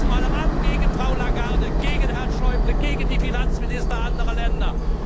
Und jetzt mal ran gegen Frau Lagarde, gegen Herrn Schäuble, gegen die Finanzminister anderer Länder!